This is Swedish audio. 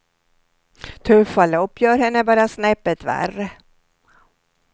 Tuffa lopp gör henne bara snäppet värre.